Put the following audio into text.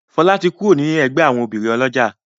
Fola tí kúrò ní ègbé àwọn obìrin olójà.